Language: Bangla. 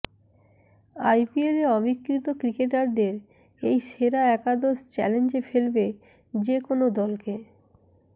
আইপিএলে অবিক্রিত ক্রিকেটারদের এই সেরা একাদশ চ্যালেঞ্জে ফেলবে যে কোনও দলকে